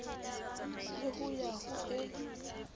le ho ya ho e